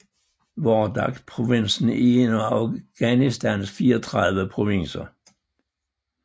Wardak provinsen er en af Afghanistans 34 provinser